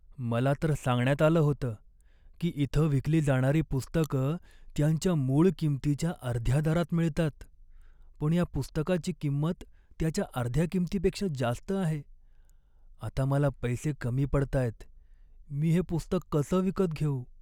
मला तर सांगण्यात आलं होतं की इथं विकली जाणारी पुस्तकं त्यांच्या मूळ किंमतीच्या अर्ध्या दरात मिळतात, पण या पुस्तकाची किंमत त्याच्या अर्ध्या किंमतीपेक्षा जास्त आहे. आता मला पैसे कमी पडतायत, मी हे पुस्तक कसं विकत घेऊ?